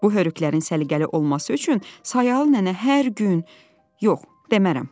Bu hörükələrin səliqəli olması üçün Sayalı nənə hər gün... yox, demərəm.